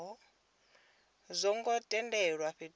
zwo ngo tendelwa fhethu ha